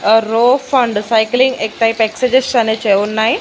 ఆ రో ఫండ్ సైక్లింగ్ ఎక్ టైప్ ఎక్ససైజ్ అనే చే ఉన్నాయి.